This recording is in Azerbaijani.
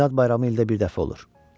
Milad bayramı ildə bir dəfə olur.